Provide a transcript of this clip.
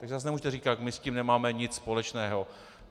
Takže zase nemůžete říkat: my s tím nemáme nic společného.